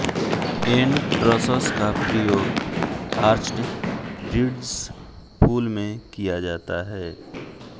N trusses का प्रियोग arched bridges पुल मे किया जाता है